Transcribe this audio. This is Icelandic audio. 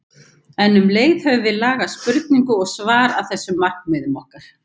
En um leið höfum við lagað spurningu og svar að þessum markmiðum okkar.